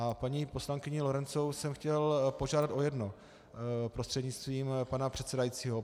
A paní poslankyni Lorencovou jsem chtěl požádat o jedno prostřednictvím pana předsedajícího.